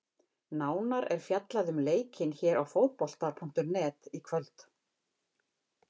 Nánar er fjallað um leikinn hér á Fótbolta.net í kvöld.